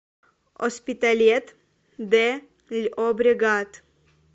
оспиталет де льобрегат